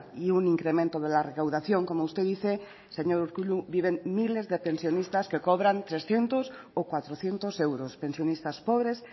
y un incremento de la recaudación como usted dice señor urkullu viven miles de pensionistas que cobran trescientos o cuatrocientos euros pensionistas pobres